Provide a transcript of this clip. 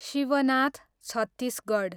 Shivnath Chhattisgarh